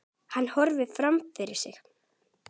Hann horfir fram fyrir sig.